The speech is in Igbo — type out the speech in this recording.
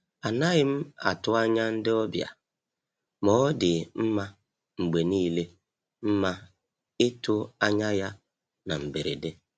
A naghị m atụ anya ndị ọbịa, ma ọ dị mma mgbe niile mma itụ anya ya na mberede.